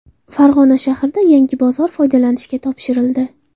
Farg‘ona shahrida yangi bozor foydalanishga topshirildi.